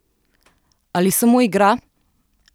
Ali samo igra?